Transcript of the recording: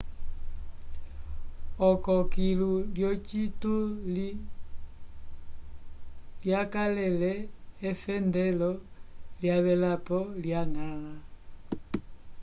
oko kilu lyocituli lyakalele efendelo lyavelapo lya ñgãla